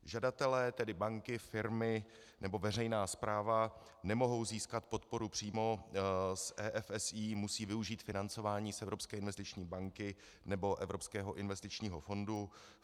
Žadatelé, tedy banky, firmy nebo veřejná správa nemohou získat podporu přímo z EFSI, musí využít financování z Evropské investiční banky nebo Evropského investičního fondu.